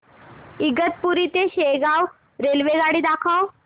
इगतपुरी ते शेगाव रेल्वेगाडी दाखव